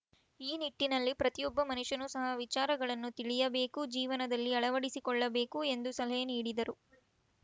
ಈ ನಿಟ್ಟಿನಲ್ಲಿ ಪ್ರತಿಯೊಬ್ಬ ಮನುಷ್ಯನು ಸಹ ವಿಚಾರಗಳನ್ನು ತಿಳಿಯಬೇಕು ಜೀವನದಲ್ಲಿ ಅಳವಡಿಸಿಕೊಳ್ಳಬೇಕು ಎಂದು ಸಲಹೆ ನೀಡಿದರು